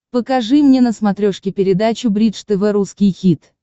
покажи мне на смотрешке передачу бридж тв русский хит